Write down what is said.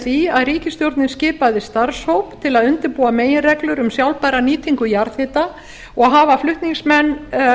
því að ríkisstjórnin skipaði starfshóp til að undirbúa meginreglur um sjálfbæra nýtingu jarðhita og hafa flutningsmenn